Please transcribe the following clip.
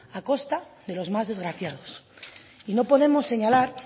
a costa de los más desgraciados y no podemos señalar